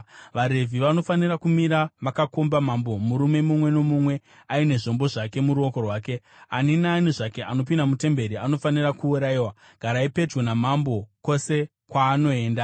VaRevhi vanofanira kumira vakakomba mambo, murume mumwe nomumwe aine zvombo zvake muruoko rwake. Ani naani zvake anopinda mutemberi anofanira kuurayiwa. Garai pedyo namambo kwose kwaanoenda.”